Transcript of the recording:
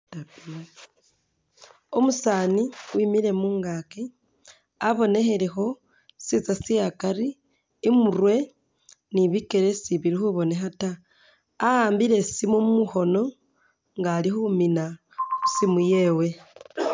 Umusaani wimile mungaaki abonekhelekho sisinza sye akari i'murwe ni bikele sibili khabonekha ta a'ambile isimu mukhoono nga ali khumina isimu yewe.